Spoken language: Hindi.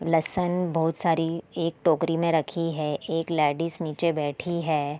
लहसन बोहोत सारी एक टोकरी में रखी है एक लेडीज नीचे बैठी है।